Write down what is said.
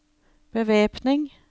bevæpning